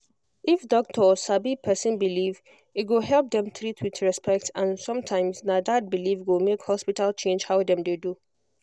if doctor sabi person belief e go help dem treat with respect and sometimes na that belief go make hospital change how dem dey do